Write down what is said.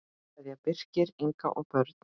Kveðja, Birkir, Inga og börn.